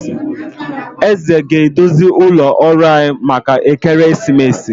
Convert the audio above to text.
Eze ga- edozi ụlọ ọrụ anyị maka ekeresimesi